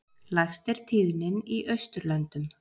Lægst er tíðnin í Austurlöndum.